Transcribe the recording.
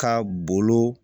Ka bolo